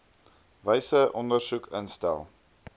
wyse ondersoek instel